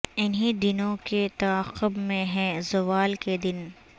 انہی دنوں کے تعاقب میں ہیں زوال کے دن